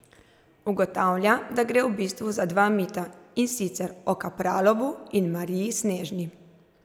Ugotavlja, da gre v bistvu za dva mita, in sicer o Kapralovu in Mariji Snežni.